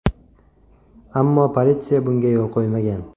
Ammo politsiya bunga yo‘l qo‘ymagan.